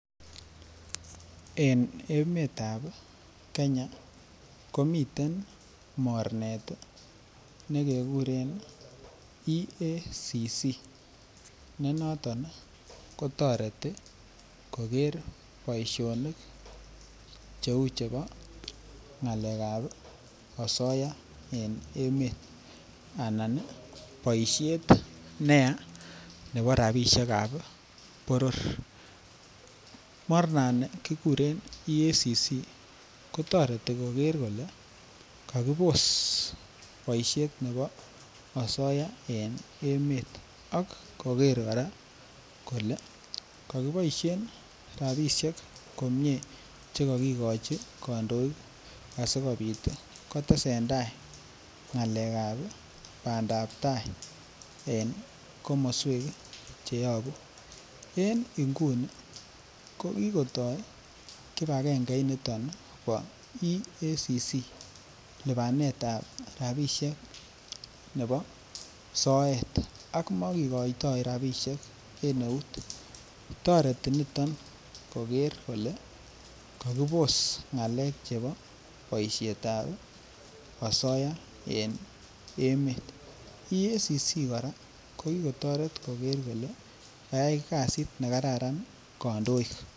En emetab Kenya komiten mornet ne kekuren EACC ne noton kotoreti koger boisionik cheu chebo ngalek ab osoya en emet anan boisiet neyaa nebo rabisiek ab boror mornani kiguren EACC kotoreti koger kole kakibos boisiet nebo osoya en emet ak koger kora kole ko kiboisien rabisiek komie Che kagigochi kandoik asikobit kotesentai ngalek ab bandap tai en komoswek Che yobu en nguni ko kotoi kibagenge niton bo EACC lipanet ab rabisiek nebo soet ak mo ki koitoi rabisiek en eut toreti niton koger kole kakibos ngalek chebo boisiet ab osoya en emet EACC kora ko ki kotoret koger kole kakiyai kasit ne kararan kandoik